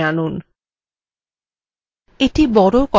মেঘটি বড় করার জন্য তীর কে বাইরের দিকে টানুন